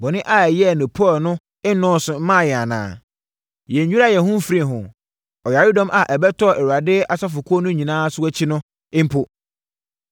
Bɔne a yɛyɛɛ no Peor no nnɔɔso mmaa yɛn anaa? Yɛnnwiraa yɛn ho mfirii ho, ɔyaredɔm a ɛbɛtɔɔ Awurade asafokuo no nyinaa so akyi no mpo.